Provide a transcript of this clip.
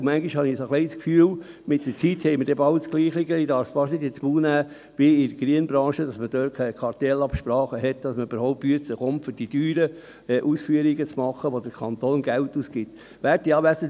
Und manchmal habe ich das Gefühl, mit der Zeit sei die Situation bald einmal gleich wie bei der Kiesbranche – ich darf es fast nicht sagen –, wo es Kartellabsprachen gibt, damit man für die teuren Ausführungen, die der Kanton bezahlt, den Auftrag erhält.